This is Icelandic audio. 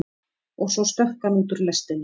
Og svo stökk hann út úr lestinni.